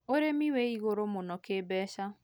ũrĩmĩ wĩ igũrũ muno kĩ mbeca